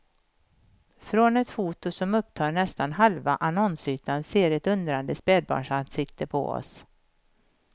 Från ett foto som upptar nästan halva annonsytan ser ett undrande spädbarnsansikte på oss.